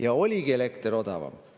Ja oligi elekter odavam.